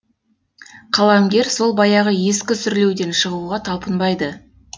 қаламгер сол баяғы ескі сүрлеуден шығуға талпынбайды